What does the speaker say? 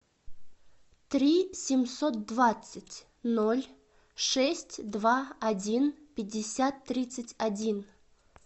три семьсот двадцать ноль шесть два один пятьдесят тридцать один